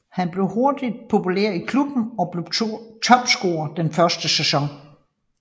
Han blev hurtigt populær i klubben og blev topscorer den første sæson